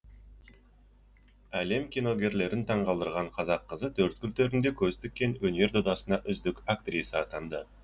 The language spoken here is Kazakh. әлем киногерлерін таңғалдырған қазақ қызы төрткүл төрінде көз тіккен өнер додасында үздік актриса атанды